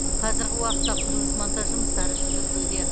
қазіргі уақытта құрылыс монтаж жұмыстары жүргізілуде